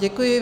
Děkuji.